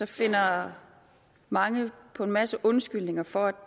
finder mange på en masse undskyldninger for at